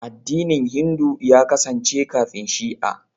Addinin Hindu ya kasance kafin Shi'a.